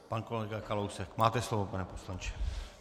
Pan kolega Kalousek, máte slovo, pane poslanče.